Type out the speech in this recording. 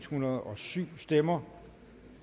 hundrede og syv stemmer